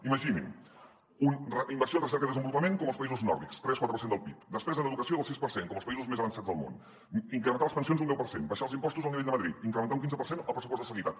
imaginin inversió en recerca i desenvolupament com els països nòrdics tres quatre per cent del pib despesa en educació del sis per cent com els països més avançats del món incrementar les pensions un deu per cent abaixar els impostos al nivell de madrid incrementar un quinze per cent el pressupost de sanitat